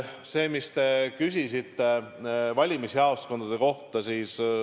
Te küsisite valimisjaoskondade kohta.